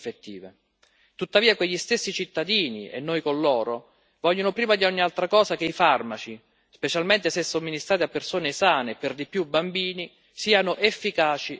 Tuttavia quegli stessi cittadini, e noi con loro, vogliono prima di ogni altra cosa che i farmaci, specialmente se somministrati a persone sane e per di più bambini, siano efficaci e sicuri.